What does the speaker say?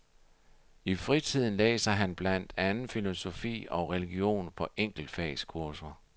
I fritiden læser han blandt andet filosofi og religion på enkeltfagskurser.